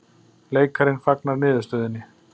Leikarinn fagnar niðurstöðunni